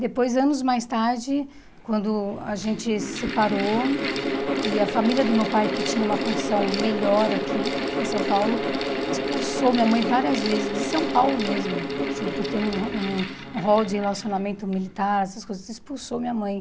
Depois, anos mais tarde, quando a gente se separou e a família do meu pai, que tinha uma condição melhor aqui em São Paulo, expulsou minha mãe várias vezes, de São Paulo mesmo, assim, por ter um um rol de relacionamento militar, essas coisas, expulsou minha mãe.